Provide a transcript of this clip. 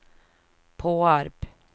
Påarp